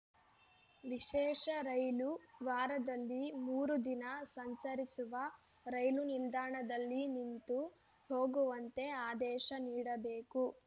ವಿಶೇಷ ರೈಲು ವಾರದಲ್ಲಿ ಮೂರು ದಿನ ಸಂಚರಿಸುವ ರೈಲು ನಿಲ್ದಾಣದಲ್ಲಿ ನಿಂತು ಹೋಗುವಂತೆ ಆದೇಶ ನೀಡಬೇಕು